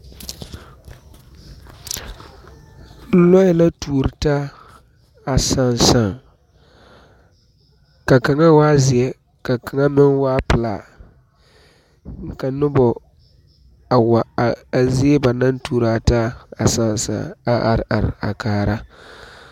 Lɔɛ la tuori taa a saasaa ka kaŋa waa zeɛ ka kaŋa meŋ waa pilaa ka noba wa are a zie poɔ ba naŋ tuori a taa a saasaa a are kaara